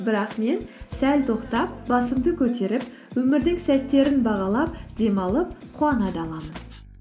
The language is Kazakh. бірақ мен сәл тоқтап басымды көтеріп өмірдің сәттерін бағалап демалып қуана да аламын